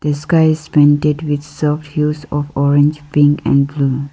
The sky is painted with of orange pink and blue.